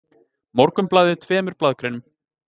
Morgunblaðið tveimur blaðagreinum